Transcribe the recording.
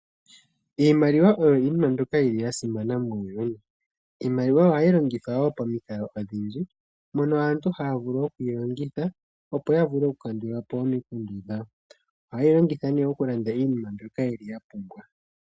Iimaliwa oyo iinima mbyoka yili yasimana muuyuni. Iimaliwa ohayi longithwa wo pomikalo odhindji, mono aantu haya vulu okuyi longitha, opo yavule okukandulapo omikundu dhawo. Ohayeyi longitha nee okulanda iinima mbyono yapumbwa.